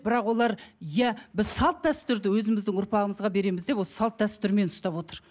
бірақ олар иә біз салт дәстүрді өзіміздің ұрпағымызға береміз деп осы салт дәстүрмен ұстап отыр